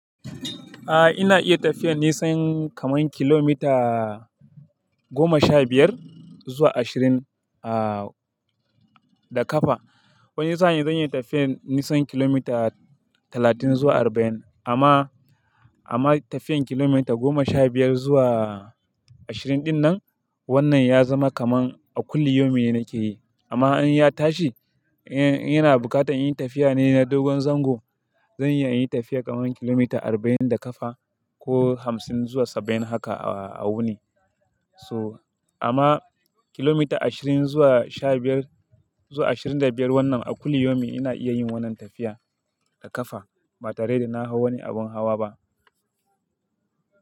Aa ina iya tafiyar nisan kaman kilomita goma sha biyar zuwa ashirin ah da kafa. Wani sa'n zan iya tafiyar nisan kilomita talatin zuwa arba'in. Amma, amma tafiyar kilomita goma sha biyar zuwa ashirin dinnan wannan ya zama kaman a kulli yome nake yi. Amma in ya tashi, in yana buƙatar yin tafiya ne na dogon zango, zan iya yin tafiyar kaman kilomita arba'in da kafa ko hamsin zuwa saba'in haka a wuni. So amma kilomita ashirin zuwa sha biyar, zuwa ashirin da biyar wannan a kulli yome ina iya yin wannan tafiya da kafa ba tare da na hau wani abun hawa ba.